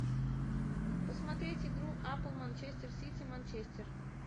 посмотреть игру апл манчестер сити манчестер